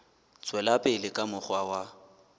tswela pele ka mokgwa wa